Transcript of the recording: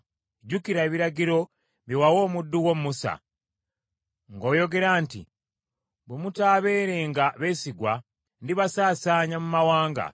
“Jjukira ebiragiro bye wawa omuddu wo Musa, ng’oyogera nti, ‘Bwe mutaabeerenga beesigwa, ndibasaasaanya mu mawanga,